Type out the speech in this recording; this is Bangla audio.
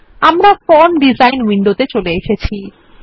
আমরা এখন ফর্ম ডিজাইন উইন্ডোতে চলে এসেছি